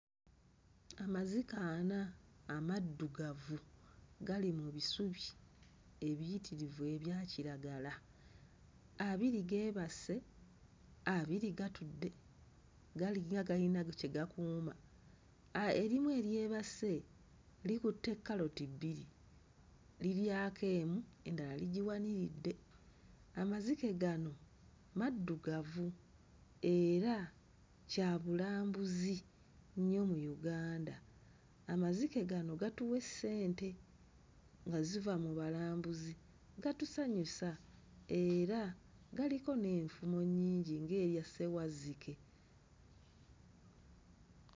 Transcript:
Amazike ana amaddugavu gali mu bisubi ebiyitirivu ebya kiragala. Abiri geebase, abiri gatudde galinga agalina kye gakuuma, ah erimu eryebase likutte kkaloti bbiri liryako emu endala ligiwaniridde. Amazike gano maddugavu era kyabulambuzi nnyo mu Uganda. Amazike gano gatuwa essente nga ziva mu balambuzi, gatusanyusa era galiko n'enfumo nnyingi ng'eya ssewazzike.